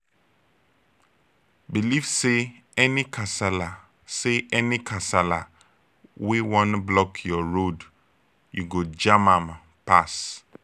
belive say any kasala say any kasala wey wan block yur road yu go jam am pass